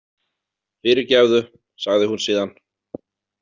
Fyrirgefðu, sagði hún síðan.